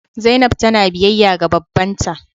Zainab tana biyayya ga babban ta.